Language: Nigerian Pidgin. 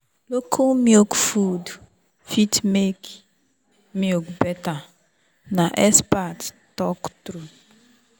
local milk food fit make milk better na expert talk true.